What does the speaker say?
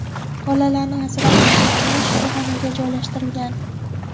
Bolalarni asrab olgan ayol shifoxonaga joylashtirilgan.